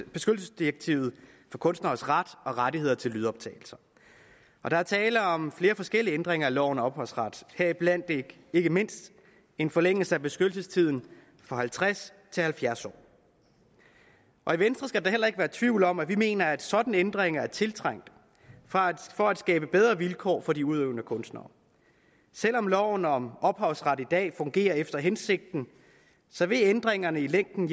beskyttelsesdirektivet for kunstneres ret og rettigheder til lydoptagelser der er tale om flere forskellige ændringer af loven om ophavsret heriblandt ikke mindst en forlængelse af beskyttelsestiden fra halvtreds til halvfjerds år i venstre skal der da heller ikke være tvivl om at vi mener at sådanne ændringer er tiltrængt for at skabe bedre vilkår for de udøvende kunstnere selv om loven om ophavsret i dag fungerer efter hensigten vil ændringerne i længden